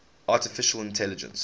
artificial intelligence